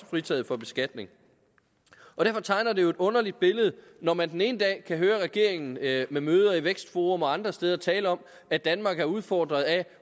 fritaget fra beskatning derfor tegner det jo et underligt billede når man den ene dag kan høre regeringen ved møder i vækstforum og andre steder tale om at danmark er udfordret af